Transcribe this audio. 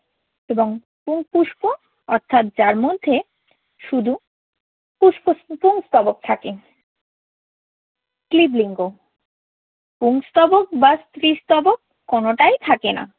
এবং পুং পুষ্প অর্থাৎ যার মধ্যে শুধু পুষ্প পুংস্তবক থাকে। ক্লীব লিঙ্গ, পুংস্তবক বা স্ত্রীস্তবক কোনটাই থাকে না।